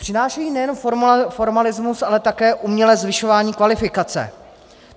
Přinášejí nejenom formalismus, ale také umělé zvyšování kvalifikace.